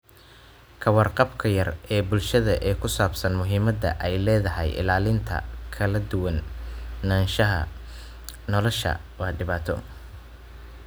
Ka warqabka yar ee bulshada ee ku saabsan muhiimada ay leedahay ilaalinta kala duwanaanshaha noolaha waa dhibaato.